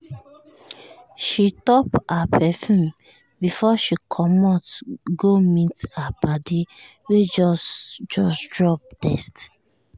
she top her perfume before she comot go meet her padi wey just just drop text.